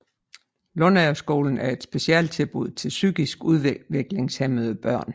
Lundagerskolen er et specialtilbud til psykisk udviklingshæmmede børn